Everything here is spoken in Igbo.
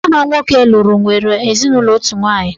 Nwa ha nwoke lụrụ nwere ezinụlọ otu nwaanyị.